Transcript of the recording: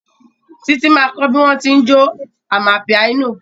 Títí ma kọ́ bí wọ́n tí ń jó amapiano